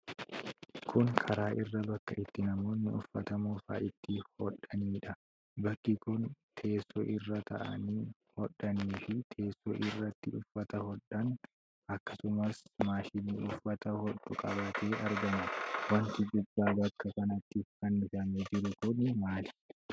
Kun karaa irra bakka itti namooti uffata moofaa itti hodhaniidha. Bakki kun teessoo irra taa'anii hodhanii fi teessoo irratti uffata hodhan, akkasumas maashinii uffata hodhu qabatee argama. Wanti gubbaa bakka kanatti fannifamee jiru kuni maali?